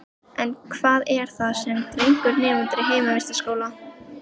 En hvað er það sem dregur nemendur í heimavistarskóla?